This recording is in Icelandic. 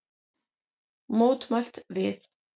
Mótmælt við